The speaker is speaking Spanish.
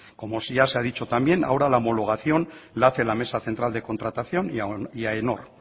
como ya se ha dicho también ahora la homologación la hace la mesa central de contratación y aenor